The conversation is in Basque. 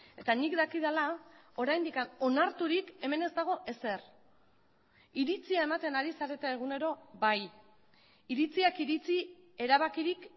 eta nik dakidala oraindik onarturik hemen ez dago ezer iritzia ematen ari zarete egunero bai iritziak iritzi erabakirik